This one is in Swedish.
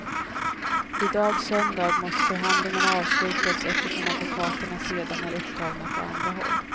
I dag söndag måste förhandlingarna avslutas eftersom advokaterna sedan är upptagna på andra håll.